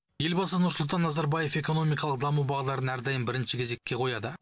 елбасы нұрсұлтан назарбаев экономикалық даму бағдарын әрдайым бірінші кезекке қояды